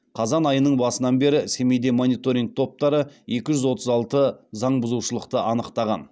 қазан айының басынан бері семейдегі мониторинг топтары екі жүз отыз алты заңбұзушылықты анықтаған